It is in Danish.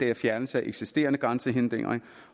er fjernelse af eksisterende grænsehindringer